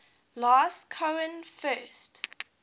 last cohen first